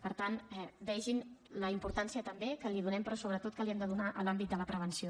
per tant vegin la importància també que li donem però sobretot que li hem de donar a l’àmbit de la prevenció